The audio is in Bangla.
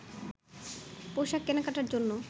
পোশাক কেনাকাটার জন্য